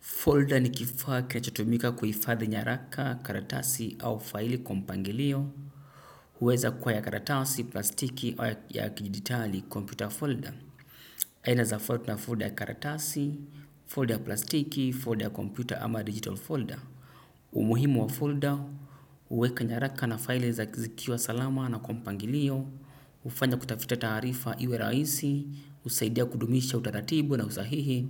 Folder ni kifaa kinachotumika kuhifadhi nyaraka, karatasi au faili kwa mpangilio. Hueza kuwa ya karatasi plastiki au ya kidijitali kompyuta folda. Aina zafuli na folda ya karatasi, folda ya plastiki, folda ya kompyuta ama digital folder. Umuhimu wa folder, huweka nyaraka na faili za zikiwa salama na kwa mpangilio. Hufanya kutafuta taarifa iwe rahisi husaidia kudumisha utaratibu na usahihi